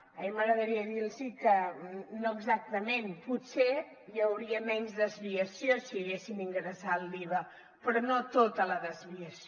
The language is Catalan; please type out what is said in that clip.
a mi m’agradaria dirlos que no exactament potser hi hauria menys desviació si haguessin ingressat l’iva però no tota la desviació